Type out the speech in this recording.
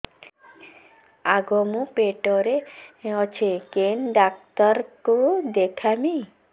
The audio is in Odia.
ଆଗୋ ମୁଁ ପେଟରେ ଅଛେ କେନ୍ ଡାକ୍ତର କୁ ଦେଖାମି